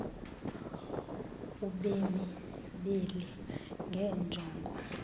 kubemi beli ngeenjongo